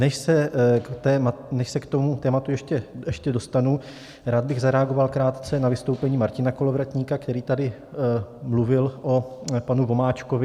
Než se k tomu tématu ještě dostanu, rád bych zareagoval krátce na vystoupení Martina Kolovratníka, který tady mluvil o panu Vomáčkovi.